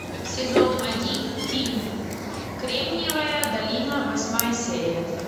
сезон один фильм кремниевая долина восьмая серия